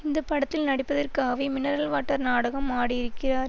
இந்த படத்தில் நடிப்பதற்காகவே மினரல் வாட்டர் நாடகம் ஆடியிருக்கிறார்